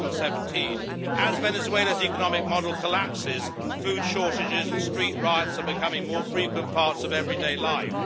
2017. As Venezuela's economic model collapses, food shortages and street riots are becoming more frequent parts of everyday life.